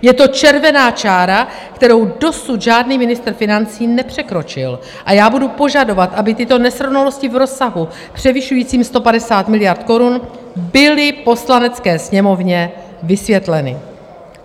Je to červená čára, kterou dosud žádný ministr financí nepřekročil, a já budu požadovat, aby tyto nesrovnalosti v rozsahu převyšujícím 150 miliard korun byly Poslanecké sněmovně vysvětleny.